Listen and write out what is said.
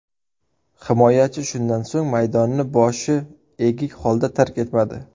Himoyachi shundan so‘ng maydonni boshi egik holda tark etmadi.